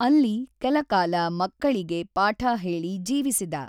ಅಲ್ಲಿ ಕೆಲಕಾಲ ಮಕ್ಕಳಿಗೆ ಪಾಠಹೇಳಿ ಜೀವಿಸಿದ.